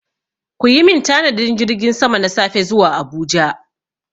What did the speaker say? Ku yi min tanadin jirgin sama na safe zuwa Abuja!